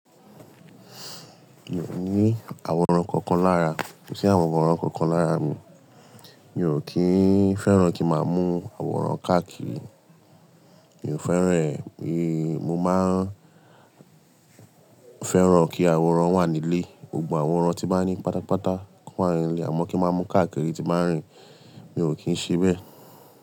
Mi ò ní àwòrán kankan lára, ko sì àwòrán kankan lára mi. Mi ò kín fẹ́ràn kí máa mú àwòrán káàkiri. Mi ò fẹ́ràn rẹ̀, mi mo máa n fẹ́ràn kí àwòrán wà nílé. Gbogbo àwòrán tí ń ba ní pátápátá kó wà nílé, àmọ́ kí n máa mú káàkiri ti n ba n rìn, mi ò kín ṣe bẹ́.